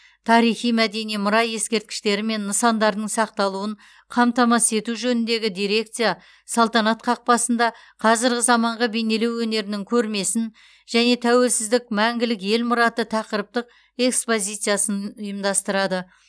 тарихи мәдени мұра ескерткіштері мен нысандарының сақталуын қамтамасыз ету жөніндегі дирекция салтанат қақпасында қазіргі заманғы бейнелеу өнерінің көрмесін және тәуелсіздік мәңгілік ел мұраты тақырыптық экспозициясын ұйымдастырады